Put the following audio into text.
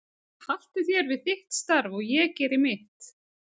Haltu þér við þitt starf og ég geri mitt.